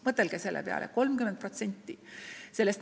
Mõtelge selle peale: 30%!